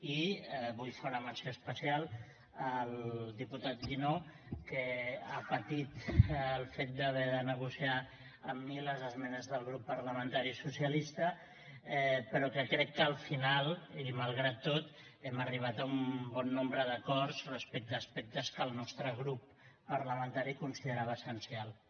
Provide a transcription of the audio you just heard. i vull fer una menció especial al diputat guinó que ha patit el fet d’haver de negociar amb mi les esmenes del grup parlamentari socialista però que crec que al final i malgrat tot hem arribat a un bon nombre d’acords respecte a aspectes que el nostre grup parlamentari considerava essencials